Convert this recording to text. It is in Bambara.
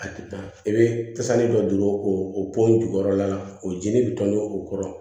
A tɛ taa i bɛ tasuma dɔ don o po in jukɔrɔla la o jeni bɛ tɔni o kɔrɔ